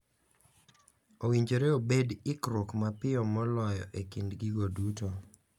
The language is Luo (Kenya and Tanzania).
Owinjore obed ikruok mapiyo moloyo e kind gigo duto.